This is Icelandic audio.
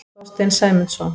Þorstein Sæmundsson.